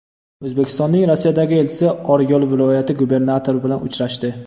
O‘zbekistonning Rossiyadagi elchisi Oryol viloyati gubernatori bilan uchrashdi.